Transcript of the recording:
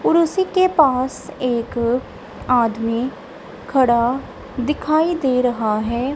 कुर्सी के पास एक आदमी खड़ा दिखाई दे रहा है।